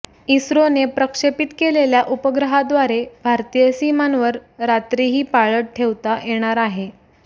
इस्रोने प्रक्षेपित केलेल्या उपग्रहाद्वारे भारतीय सीमांवर रात्रीही पाळत ठेवता येणार आहे